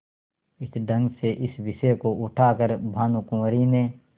इस ढंग से इस विषय को उठा कर भानुकुँवरि ने